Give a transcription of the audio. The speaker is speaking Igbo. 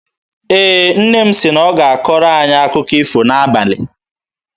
Ee, nne m sị na ọ ga-akọrọ anyị akụkọ ifo n'abalị.